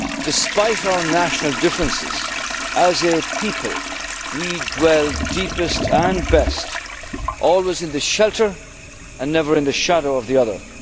says despite our national differences as a people we dwell deepest and best always in the shelter and never in the shadow of the other.